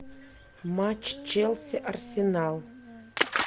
матч челси арсенал